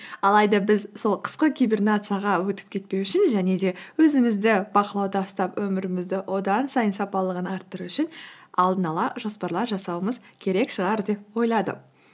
алайда біз сол қысқы кибернацияға өтіп кетпеу үшін және де өзімізді бақылауда ұстап өмірімізді одан сайын сапалығын арттыру үшін алдын ала жоспарлар жасауымыз керек шығар деп ойладым